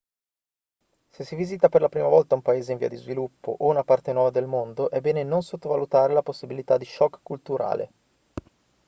se si visita per la prima volta un paese in via di sviluppo o una parte nuova del mondo è bene non sottovalutare la possibilità di shock culturale